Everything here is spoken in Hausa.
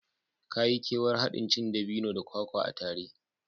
Ka yi kewar haɗin cin dabino da kwakwa a tare